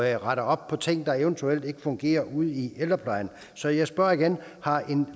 at rette op på ting der eventuelt ikke fungerer ude i ældreplejen så jeg spørger igen har